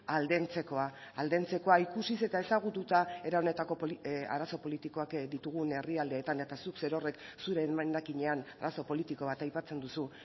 aldentzekoa aldentzekoa ikusiz eta ezagututa era honetako arazo politikoak ditugun herrialdeetan eta zuk zerorrek zure emendakinean arazo politiko bat aipatzen duzu